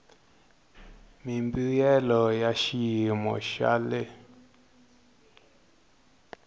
mimbuyelo ya xiyimo xa le